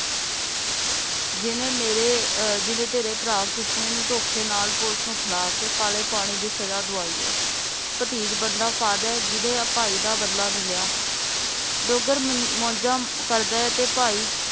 ਜਿਹਨੇ ਮੇਰੇ ਅਹ ਜਿਹਨੇ ਤੇਰੇ ਭਰਾ ਕਿਸਨੇ ਨੂੰ ਧੋਖੇ ਨਾਲ police ਨੂੰ ਫੜਾ ਕੇ ਕਾਲੇ ਪਾਣੀ ਦੀ ਸਜਾ ਦਵਾਈ ਹੈ ਭਤੀਜ ਬੰਦਾ ਕਾਦਾ ਹੈ ਜਿਹਨੇ ਭਾਈ ਦਾ ਬਦਲਾ ਨਹੀਂ ਲਿਆ ਡੋਗਰ ਮੌਜਾਂ ਕਰਦਾ ਹੈ ਤੇ ਭਾਈ